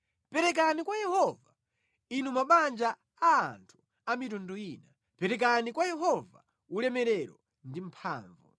Perekani kwa Yehova, inu mabanja a anthu a mitundu ina, perekani kwa Yehova ulemerero ndi mphamvu.